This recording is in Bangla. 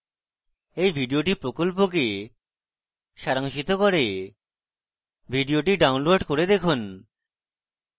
এই video প্রকল্পকে সারাংশিত করে video download করে দেখুন